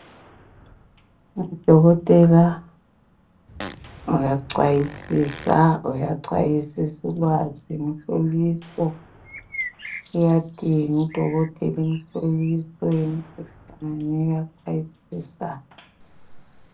Udokotela uyacwayisisa, uyacwayisisulwazi, umhloliso. Uyadinga udokotela umhloliso yemikhuhlane uyacwayisisa